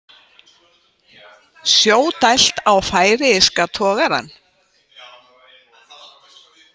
Sjó dælt á færeyska togarann